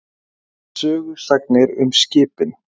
Sögusagnir um skipin.